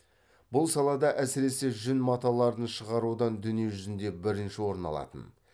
бұл салада әсіресе жүн маталарын шығарудан дүние жүзінде бірінші орын алатын